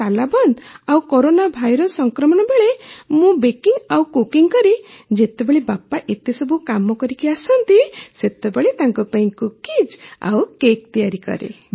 ଏ ତାଲାବନ୍ଦ ଆଉ corona virus ସଂକ୍ରମଣ ବେଳେ ମୁଁ ବେକିଂ ଆଉ କୁକିଂ କରି ଯେତେବେଳେ ବାପା ଏତେସବୁ କାମ କରିଆସନ୍ତି ସେତେବେଳେ ତାଙ୍କ ପାଇଁ କୁକିଜ୍ ଆଉ କେକ୍ ତିଆରି କରେ